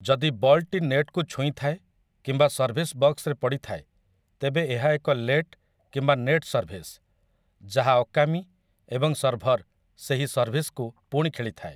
ଯଦି ବଲ୍‌ଟି ନେଟ୍‌କୁ ଛୁଇଁଥାଏ କିନ୍ତୁ ସର୍ଭିସ୍ ବକ୍ସରେ ପଡ଼ିଥାଏ, ତେବେ ଏହା ଏକ ଲେଟ୍ କିମ୍ବା ନେଟ୍ ସର୍ଭିସ୍, ଯାହା ଅକାମୀ ଏବଂ ସର୍ଭର୍ ସେହି ସର୍ଭିସ୍‌କୁ ପୁଣି ଖେଳିଥାଏ ।